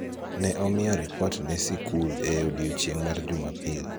ne omiye ripot ne sikul e odiechieng' mar Jumapil